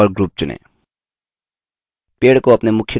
दायाँ click करें और group चुनें